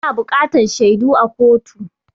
Ana buƙatan shaidu a kotu.